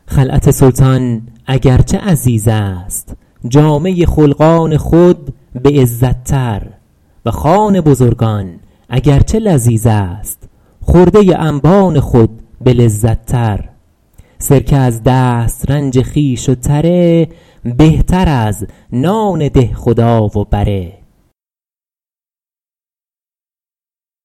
خلعت سلطان اگر چه عزیز است جامه خلقان خود به عزت تر و خوان بزرگان اگر چه لذیذ است خرده انبان خود به لذت تر سرکه از دسترنج خویش و تره بهتر از نان دهخدا و بره